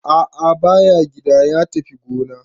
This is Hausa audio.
A'a ba ya gida, ya tafi gona.